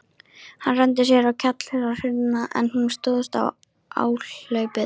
Hann renndi sér á kjallarahurðina, en hún stóðst áhlaupið.